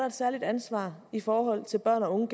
et særligt ansvar i forhold til børn og unge